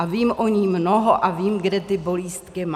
A vím o ní mnoho a vím, kde ty bolístky má.